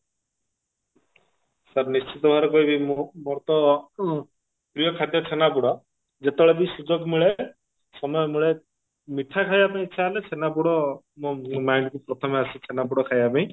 sir ନିଶ୍ଚିତ ଭାବରେ କହିବି ମୁଁ ମୋର ତ ଉଁ ପ୍ରିୟ ଖାଦ୍ୟ ଛେନାପୋଡ ଯେତେବେଳେ ବି ସୁଯୋଗ ମିଳେ ସମୟ ମିଳେ ମିଠା ଖାଇବା ପାଇଁ ଇଛା ହେଲେ ଛେନାପୋଡ ମୋ mind କୁ ପ୍ରଥମେ ଆସେ ଛେନାପୋଡ ଖାଇବା ପାଇଁ